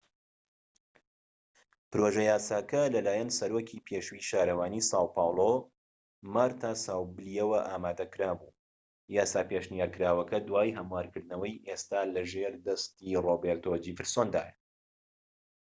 پڕۆژە یاساکە لەلایەن سەرۆکی پێشووی شارەوانی ساو پاولۆ مارتا ساوبلییەوە ئامادەکرا بوو. یاسا پێشنیارکراوەکە، دوای هەموارکردنەوەی، ئێستا لە ژێر دەستی ڕۆبێرتۆ جێفرسۆندایە‎